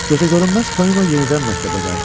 Gözəgörünməz Tonino yenidən məktəbə qayıtdı.